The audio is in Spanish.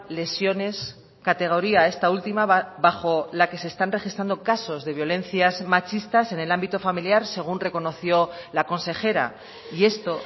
lesiones categoría esta última bajo la que se están registrando casos de violencias machistas en el ámbito familiar según reconoció la consejera y esto